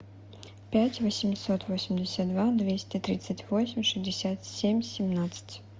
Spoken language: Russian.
пять восемьсот восемьдесят два двести тридцать восемь шестьдесят семь семнадцать